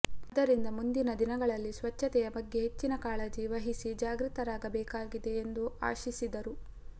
ಆದ್ದರಿಂದ ಮುಂದಿನ ದಿನಗಳಲ್ಲಿ ಸ್ವಚ್ಚತೆ ಬಗ್ಗೆ ಹೆಚ್ಚಿನ ಕಾಳಜಿ ವಹಿಸಿ ಜಾಗೃತರಾಗಬೇಕಾಗಿದೆ ಎಂದು ಆಶಿಸಿದರು